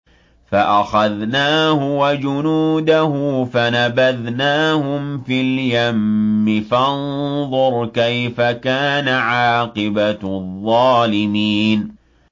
فَأَخَذْنَاهُ وَجُنُودَهُ فَنَبَذْنَاهُمْ فِي الْيَمِّ ۖ فَانظُرْ كَيْفَ كَانَ عَاقِبَةُ الظَّالِمِينَ